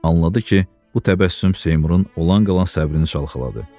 Anladı ki, bu təbəssüm Seymurun olan qalan səbrini çalxaladı.